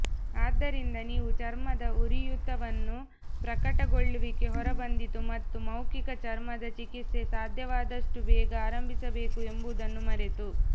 ಆದ್ದರಿಂದ ನೀವು ಚರ್ಮದ ಉರಿಯೂತವನ್ನು ಪ್ರಕಟಗೊಳ್ಳುವಿಕೆ ಹೊರಬಂದಿತು ಮತ್ತು ಮೌಖಿಕ ಚರ್ಮದ ಚಿಕಿತ್ಸೆ ಸಾಧ್ಯವಾದಷ್ಟು ಬೇಗ ಆರಂಭಿಸಬೇಕು ಎಂಬುದನ್ನು ಮರೆತು